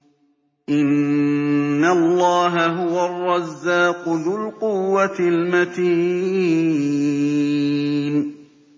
إِنَّ اللَّهَ هُوَ الرَّزَّاقُ ذُو الْقُوَّةِ الْمَتِينُ